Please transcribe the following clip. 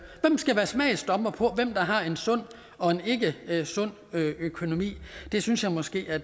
skal være smagsdommer for hvem der har en sund og en ikkesund økonomi det synes jeg måske at